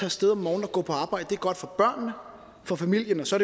af sted om morgenen og gå på arbejde det er godt for børnene og for familien og så